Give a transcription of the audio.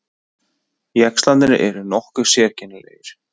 Jaxlarnir eru nokkuð sérkennilegir.